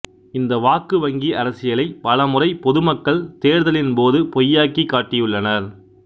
இந்த வாக்கு வங்கி அரசியலை பல முறை பொது மக்கள் தேர்தலின் போது பொய்யாக்கி காட்டியுள்ளனர்